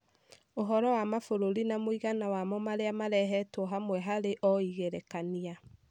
Ũhoro wa mabũrũri na mũigana wamo marĩa marehetwo hamwe harĩ o igerekania.